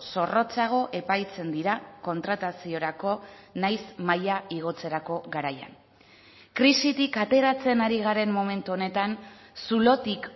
zorrotzago epaitzen dira kontrataziorako nahiz maila igotzerako garaian krisitik ateratzen ari garen momentu honetan zulotik